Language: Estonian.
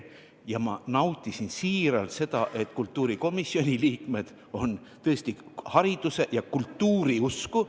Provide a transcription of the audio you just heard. Ma väga nautisin seda, et kultuurikomisjoni liikmed on tõesti hariduse ja kultuuri usku.